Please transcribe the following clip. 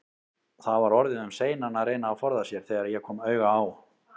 Það var orðið um seinan að reyna að forða sér, þegar ég kom auga á